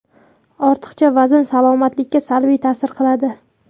Ortiqcha vazn salomatlikka salbiy ta’sir qiladi.